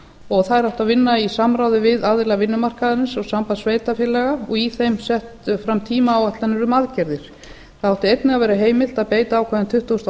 og þær átti að vinna í samráði við aðila vinnumarkaðarins og samband sveitarfélaga og í þeim settar fram tímaáætlanir um aðgerðir þá átti einnig að vera heimilt að beita ákvæðum tuttugasta og